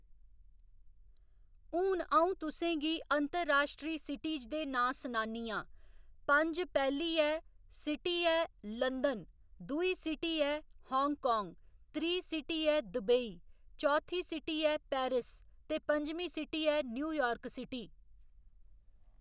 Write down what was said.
हून अ'ऊं तुसेंगी अंतरराश्ट्री सिटिज दे नांऽ सनानी आं पंज पैह्ली ऐ सिटी ऐ लंदन दुई सिटी ऐ हांगकांग त्री सिटी ऐ दुबेई चौथी सिटिज ऐ पैरिस ते पंजमी सिटी ऐ न्यूयार्क सिटी